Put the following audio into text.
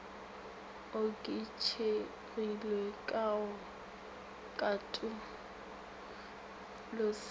oketšegilego ka ka go katološetša